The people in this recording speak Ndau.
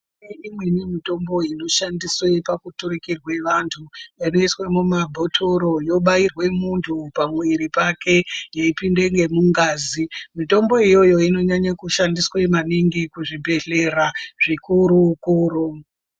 Kune imweni mitombo inoshandiswe pakuturukire vanthu, inoiswe mumabhothoro, yobairwe munthu pa mwiri pake, yeipinda ngemungazi. Mitombo iyoyo inonyanya kushandiswe maningi kuzvibhedhlera zvikuru-kuru.